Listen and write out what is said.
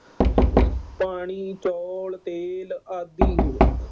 ਪਾਣੀ, ਚੌਲ, ਤੇਲ ਆਦਿ।